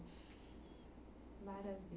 Maravi